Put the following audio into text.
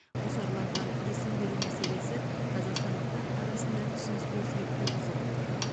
қосарланған есім беру мәселесі қазақстандықтар арасында түсініспеушілік туғызып отыр